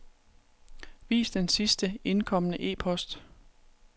Vis den sidst indkomne e-post.